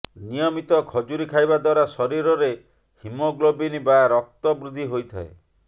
ନିୟମିତ ଖଜୁରୀ ଖାଇବା ଦ୍ୱାରା ଶରୀରରେ ହିମୋଗ୍ଲୋବିନ୍ ବା ରକ୍ତ ବୃଦ୍ଧି ହୋଇଥାଏ